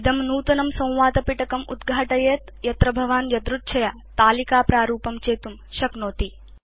इदं नूतनं संवादपिटकम् उद्घाटयेत् यत्र भवान् यदृच्छया तालिकाप्रारूपं चेतुं शक्नोति